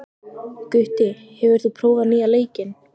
Gutti, hefur þú prófað nýja leikinn?